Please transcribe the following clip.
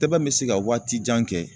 Tɛbɛn bɛ se ka waati jan kɛ.